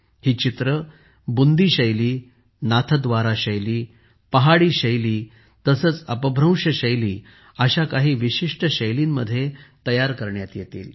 ही चित्रे बुंदी शैली नाथद्वारा शैली पहाडी शैली तसेच अपभ्रंश शैली अशा काही विशिष्ट शैलींच्या वापरासह तयार करण्यात येतील